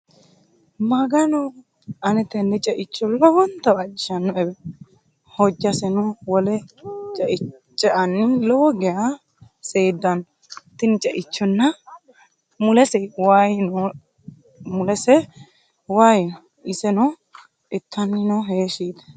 Magano! Ane tenne ceicho lowonta waajjishanoewe hojjaseno wole ceanni lowo geya seeddanno tini ceichona mulese wayii no iseno ittani no heeshshi yite